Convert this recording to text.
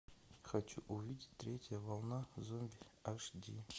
хочу увидеть третья волна зомби аш ди